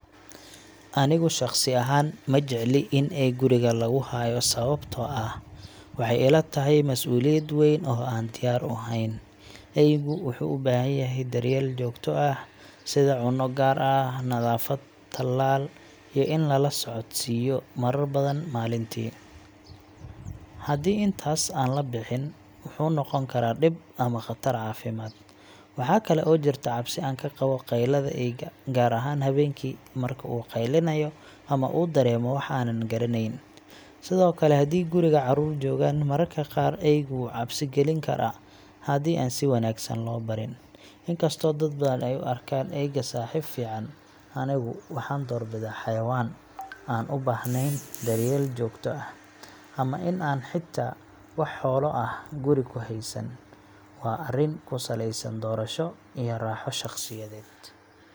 Anigu shakhsi ahaan ma jecli in eey guriga lagu hayo, sababtoo ah waxaa ila tahay mas’uuliyad weyn oo aanan diyaar u ahayn. Eygu wuxuu u baahan yahay daryeel joogto ah sida cunno gaar ah, nadaafad, tallaal, iyo in la socodsiiyo marar badan maalintii. Haddii intaas aan la bixin, wuxuu noqon karaa dhib ama khatar caafimaad. Waxaa kale oo jirta cabsi aan ka qabo qaylada eyga, gaar ahaan habeenkii marka uu qeylinayo ama uu dareemo wax aanan garaneyn. Sidoo kale, haddii guriga caruur joogaan, mararka qaar eygu wuu cabsi gelin karaa haddii aan si wanaagsan loo barin. Inkastoo dad badan ay u arkaan eyga saaxiib fiican, anigu waxaan doorbidaa xayawaan aan u baahnayn daryeel joogto ah, ama in aan xitaa wax xoolo ah guri ku haysan. Waa arrin ku saleysan doorasho iyo raaxo shaqsiyadeed.